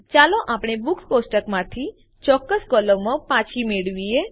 ચાલો આપણે બુક્સ કોષ્ટકમાંથી ચોક્કસ કોલમો પાછી મેળવીએ